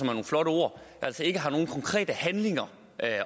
nogle flotte ord så ikke nogen konkrete handlinger